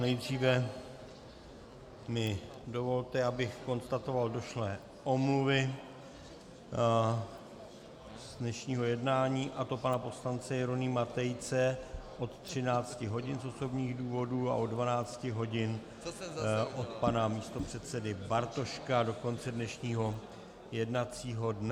Nejdříve mi dovolte, abych konstatoval došlé omluvy z dnešního jednání, a to pana poslance Jeronýma Tejce od 13 hodin z osobních důvodů a od 12 hodin od pana místopředsedy Bartoška do konce dnešního jednacího dne.